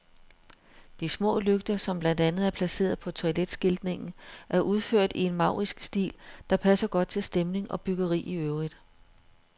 De små lygter, som blandt andet er placeret på toiletskiltningen, er udført i en maurisk stil, der passer godt til stemning og byggeri i øvrigt.